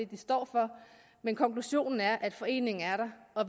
de står for men konklusionen er at foreningen er der og